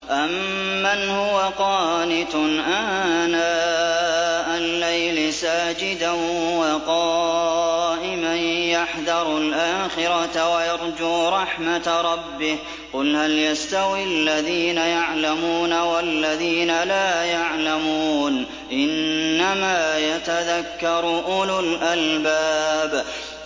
أَمَّنْ هُوَ قَانِتٌ آنَاءَ اللَّيْلِ سَاجِدًا وَقَائِمًا يَحْذَرُ الْآخِرَةَ وَيَرْجُو رَحْمَةَ رَبِّهِ ۗ قُلْ هَلْ يَسْتَوِي الَّذِينَ يَعْلَمُونَ وَالَّذِينَ لَا يَعْلَمُونَ ۗ إِنَّمَا يَتَذَكَّرُ أُولُو الْأَلْبَابِ